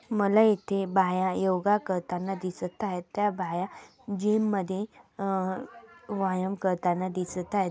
मला इथे बाया योगा करताना दिसत आहेत. त्या बाया जीम मध्ये अ व्यायाम करताना दिसत आहेत.